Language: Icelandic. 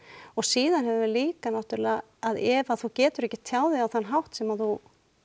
og síðan höfum við líka náttúrulega að ef þú getur ekki tjáð þig á þann hátt sem þú